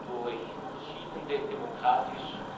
durch verschiedene demokratisch